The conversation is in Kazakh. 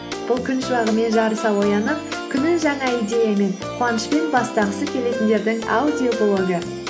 бұл күн шуағымен жарыса оянып күнін жаңа идеямен қуанышпен бастағысы келетіндердің аудиоблогы